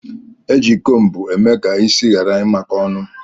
Eji cómbu eme ka isi ghara imako ọnụ.